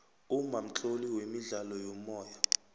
umma mtloli wemidlalo yomoya